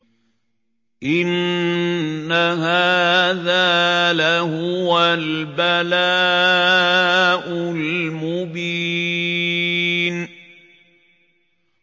إِنَّ هَٰذَا لَهُوَ الْبَلَاءُ الْمُبِينُ